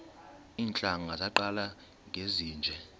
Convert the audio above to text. iintlanga zaqala ngezinje